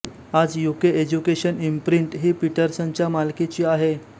आज UK education imprint ही पीटरसनच्या मालकीची आहे